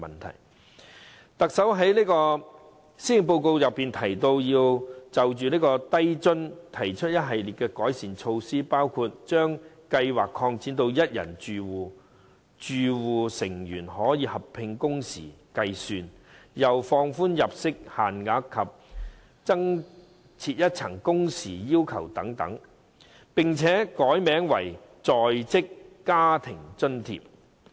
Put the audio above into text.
特首在施政報告就低津計劃提出一系列改善措施，包括將計劃擴展至一人住戶、容許住戶成員合併工時計算、放寬入息限額及增設一層工時要求等，並且改名為"在職家庭津貼"。